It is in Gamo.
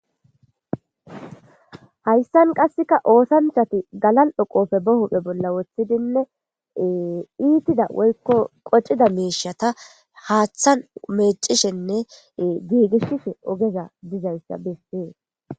Hayssan qassika oosanchchathi galal7o qofe ba huphe bolla woththidinne ee iithida woykko qocida miishatha haaththan meeccishenne giigishishe ogeza dizayssa bessees.